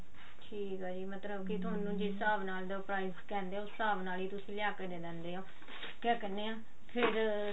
ਠੀਕ ਆ ਜੀ ਥੋਨੂੰ ਜਿਸ ਹਿਸਾਬ ਨਾਲ ਉਹ price ਕਹਿੰਦੇ ਆ ਉਸ ਹਿਸਾਬ ਨਾਲ ਹੀ ਤੁਸੀਂ ਲਿਆ ਕੇ ਦੇ ਦਿੰਦੇ ਹੋ ਕਿਆ ਕਹਿਨੇ ਆ ਫ਼ੇਰ